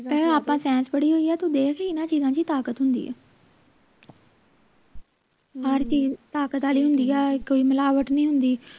ਆਪਾਂ ਪੜ੍ਹੀ ਹੋਈ ਆ ਤੂੰ ਵੀ ਇੰਨਾ ਚੀਜਾਂ ਚ ਤਾਕਤ ਹੁੰਦੀ ਆ ਹਰ ਚੀਜ ਤਾਕਤ ਆਲੀ ਹੁੰਦੀ ਆ ਕੋਈ ਮਿਲਾਵਟ ਨਹੀਂ ਹੁੰਦੀ